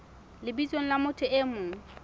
lebitsong la motho e mong